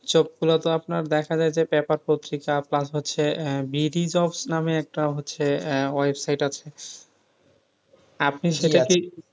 গুলো তো আপনার দেখা যাই যে পত্রিকা Plus হচ্ছে নামে হচ্ছে একটা website আছে আপনি সেটা কে,